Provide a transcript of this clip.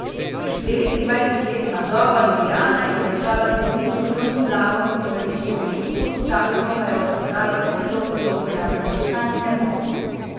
Devetindvajsetletna vdova Julijana je obdržala trgovino s krojnim blagom in skladišče v mestu, sčasoma pa je odprodala vse trgovske lope na frančiškanskem mostu.